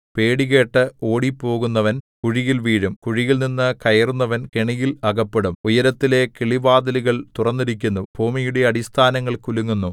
പേടി കേട്ട് ഓടിപ്പോകുന്നവൻ കുഴിയിൽ വീഴും കുഴിയിൽനിന്നു കയറുന്നവൻ കെണിയിൽ അകപ്പെടും ഉയരത്തിലെ കിളിവാതിലുകൾ തുറന്നിരിക്കുന്നു ഭൂമിയുടെ അടിസ്ഥാനങ്ങൾ കുലുങ്ങുന്നു